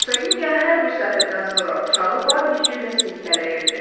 Hersogenya hər bir sətirdən sonra uşağı var gücü ilə silkələyirdi.